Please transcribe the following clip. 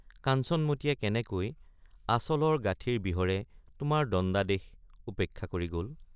কাঞ্চনমতীয়ে কেনেকৈ আঁচলৰ গাথিৰ বিহৰে তোমাৰ দণ্ডাদেশ উপেক্ষা কৰি গল?